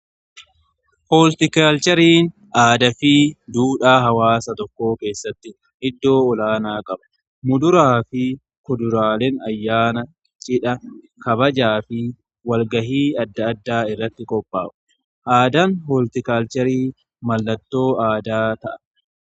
Hooltikaalcheriin aadaa fi duudhaa hawaasa tokkoo keessatti iddoo olaanaa qaba muduraa fi kuduraalen ayyaana qcidha kabajaa fi walgahii adda addaa irratti qophaa'u. Aadaan hooltikaalcherii mallattoo addaa ta'a.